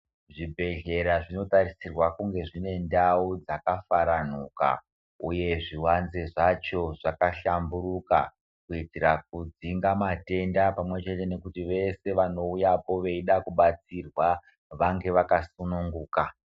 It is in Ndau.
Zvibhedhlera zvino tarisirwa kunge zvine ndau dzaka faranuka uye zvivanze zvacho zvaka hlamburuka, kuitira kudzinga matenda pamwe chete nekuti veshe vanouyapo veida kubatsirwa vange vaka sununguka.